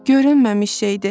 Görünməmiş şeydi.